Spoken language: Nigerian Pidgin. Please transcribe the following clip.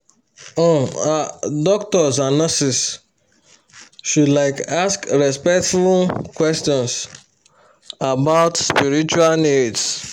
um ah doctors and nurses should like ask respectful um questions about spiritual needs